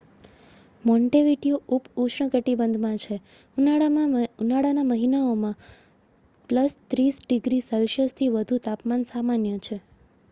Montevideo ઉપઉષ્ણકટિબંધમાં છે; ઉનાળાના મહિનાઓમાં +30°c થી વધુ તાપમાન સામાન્ય છે